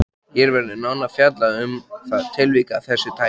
Hér verður nánar fjallað um það tilvik af þessu tagi.